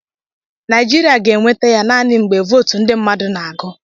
Naịjiria ga-enweta ya naanị mgbe votu ndị mmadụ na-agụ.